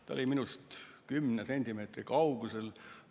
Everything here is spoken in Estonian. Ta oli minust kümne sentimeetri kaugusel.